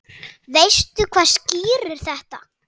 Veistu hvað skýrir þetta?